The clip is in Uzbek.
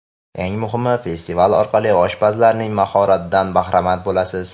Eng muhimi, festival orqali oshpazlarning mahoratidan bahramand bo‘lasiz.